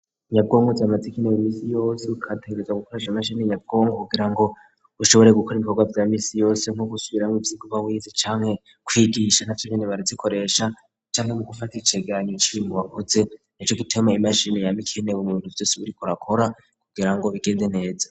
Nyabwongwo zamazikainewe imisi yose ukategereza gukorajha mashini nyavwongo kugira ngo ushobore gukora ibikorwa vya misi yose nko gusubiramgwo ivyoguba wizi canke kwigisha nta vyo nyene barazikoresha canke mu gufata iceganyo cib mubakoze ni co gutema imashini yame ikenewe mu'bintu vyose burikorakora kugira ngo bigenze neza.